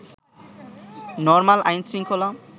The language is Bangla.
নরমাল আইনশৃঙ্খলা